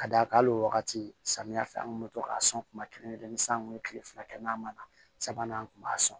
Ka d'a kan hali o wagati samiya fɛ an kun bɛ to k'a sɔn kuma kelen kelen ni san kun be kile fila kɛ n'a ma na sabanan an kun b'a sɔn